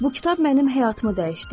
Bu kitab mənim həyatımı dəyişdi.